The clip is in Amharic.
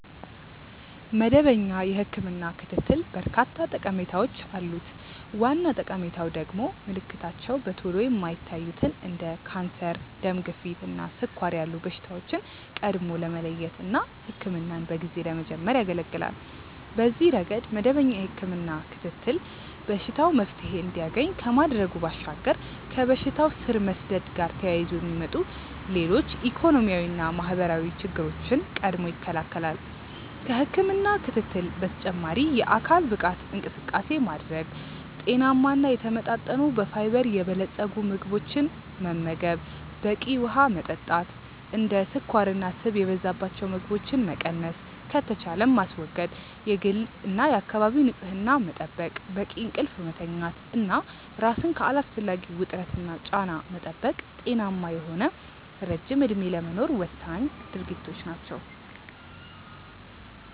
መደበኛ የህክምና ክትትል በርካታ ጠቀሜታዎች አሉት። ዋና ጠቀሜታው ደግሞ ምልክታቸው በቶሎ የማይታዩትን እንደ ካንሰር፣ ደም ግፊት እና ስኳር ያሉ በሽታዎችን ቀድሞ ለመለየት እና ህክምናን በጊዜ ለመጀመር ያገለገላል። በዚህ ረገድ መደበኛ የህክምና ክትትል በሽታው መፍትሔ እንዲያገኝ ከማድረጉ ባሻገር ከበሽታው ስር መስደድ ጋር ተያይዞ የሚመጡ ሌሎች ኢኮኖሚያዊና ማህበራዊ ችግሮችን ቀድሞ ይከለከላል። ከህክምና ክትትል በተጨማሪ የአካል ብቃት እንቅስቃሴ ማድረግ፣ ጤናማ እና የተመጣጠኑ በፋይበር የበለፀጉ ምግቦችን መመገብ፣ በቂ ውሀ መጠጣት፣ እንደ ስኳርና ስብ የበዛባቸው ምግቦችን መቀነስ ከተቻለም ማስወገድ፣ የግልና የአካባቢ ንጽህና መጠበቅ፣ በቂ እንቅልፍ መተኛት እና ራስን ከአላስፈላጊ ውጥረትና ጫና መጠበቅ ጤናማ የሆነ ረጅም እድሜ ለመኖር ወሳኝ ድርጊቶች ናቸው።